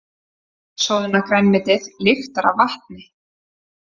Soðna grænmetið lyktar af vatni.